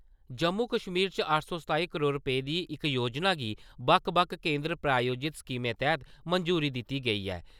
जम्मू-कश्मीर च अट्ठ सौ सताई करोड़ रुपेऽ दी इक योजना गी बक्ख-बक्ख केंदर प्रायोजित स्कीमें तैह्त मंजूरी दिती गेई ऐ।